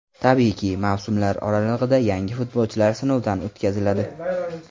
Tabiiyki, mavsumlar oralig‘ida yangi futbolchilar sinovdan o‘tkaziladi.